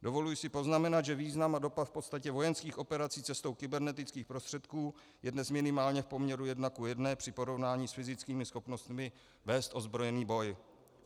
Dovoluji si poznamenat, že význam a dopad v podstatě vojenských operací cestou kybernetických prostředků je dnes minimálně v poměru 1:1 při porovnání s fyzickými schopnostmi vést ozbrojený boj.